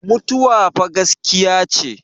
mutuwa fa gaskiya ce